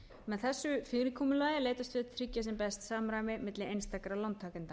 með þessu fyrirkomulagi er leitast við að tryggja sem best samræmi milli einstakra lántakenda